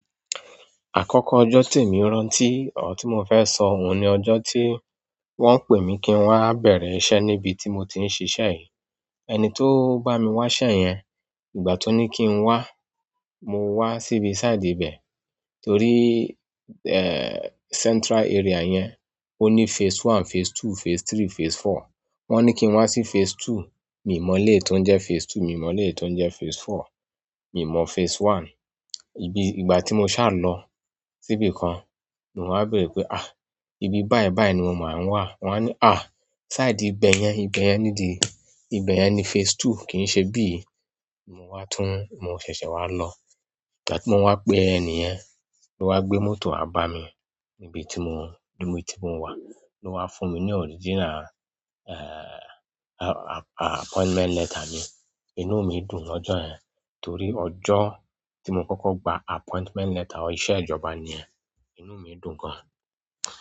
Akọkọ ọjọ ti emi rántí ti mo fẹ sọ ní ọjọ tí wọ́n pe mi ki ń wa bẹrẹ iṣẹ́ níbi tí mo tí ń ṣiṣẹ yi. Ẹni tó bá mi wá iṣẹ́ yẹn, ìgbà tó ní kí n wá, mo wá síbi side ibẹ̀, toríii, eh, central area yẹn, ó ní phase one, phase two, phase three, phase four. Wọn ni kiń wa sí phase two mi mọ ele to ń jẹ phase two mi mọ ele ti ń jẹ phase four mi mọ phase one. Ibi ìgbà tí mo ṣà lọ síbi kan, ni wá bẹ̀rẹ̀ pé, "àh! Ibi báyi báyi ni mo máa ń wà." Wọ́n á ní, "àh! Side ìgbẹ́ yẹn, ìgbẹ́ yẹn nídìí, ìgbẹ́ yẹn ni phase two, kì í ṣe bíi." Mo wá tún, mo ṣẹ̀ṣẹ̀ wá lọ. Ìgbà tí wọ́n wá pé ẹni yẹn, ó wá gbé mọ́tò á bá mi nibi tí mo, níbi tí mo wà. Ló wá fún mi ní original, eh, a-a-appointment letter mi. Inú mi dùn lọ́jọ́ yẹn, torí ọjọ́ tí mo kọ́kọ́ gba appointment letter ọ iṣẹ́ ìjọba ni yẹn. Inú mi dùn gan.